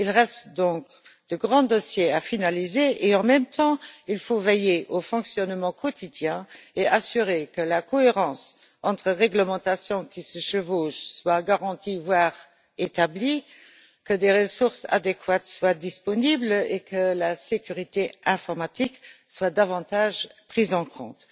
Il reste donc de grands dossiers à finaliser et, en même temps, il faut veiller au fonctionnement quotidien et assurer que la cohérence entre réglementations qui se chevauchent soit garantie, voire établie, que des ressources adéquates soient disponibles et que la sécurité informatique soit davantage prise en compte.